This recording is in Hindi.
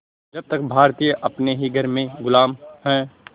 जब तक भारतीय अपने ही घर में ग़ुलाम हैं